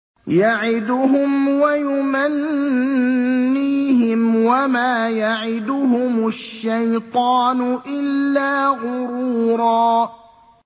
يَعِدُهُمْ وَيُمَنِّيهِمْ ۖ وَمَا يَعِدُهُمُ الشَّيْطَانُ إِلَّا غُرُورًا